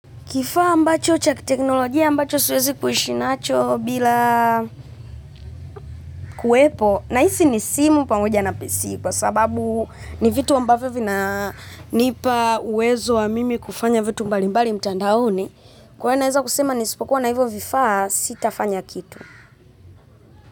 Kifaa ambacho cha teknolojia ambacho siwezi kuishi nacho bila, kuwepo, nahisi ni simu pamoja na PC kwa sababu ni vitu ambavyo vinanipa uwezo wa mimi kufanya vitu mbali mbali mtandaoni, kwaio naeza kusema nisipokuwa na hivyo vifaa, sitafanya kitu.